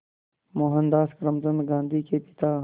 मोहनदास करमचंद गांधी के पिता